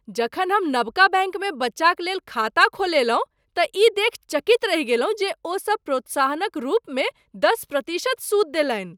जखन हम नबका बैंकमे बच्चाक लेल खाता खोललहुँ तँ ई देखि चकित रहि गेलहुँ जे ओ सब प्रोत्साहनक रूपमे दश प्रतिशत सूद देलनि।